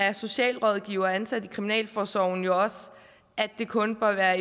af socialrådgivere ansat i kriminalforsorgen også at det kun bør